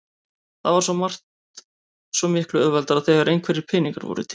Það var svo margt svo miklu auðveldara þegar einhverjir peningar voru til.